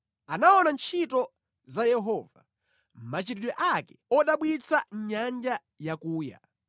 Anaona ntchito za Yehova, machitidwe ake odabwitsa mʼnyanja yakuya.